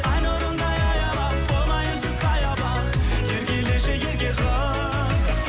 ай нұрындай аялап болайыншы саябақ